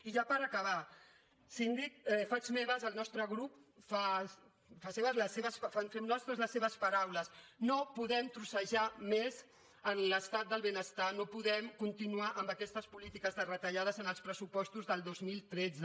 i ja per acabar síndic faig meves el nostre grup fem nostres les seves paraules no podem trossejar més l’estat del benestar no podem continuar amb aquestes polítiques de retallades en els pressupostos del dos mil tretze